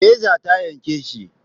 Reza ta yanke shi.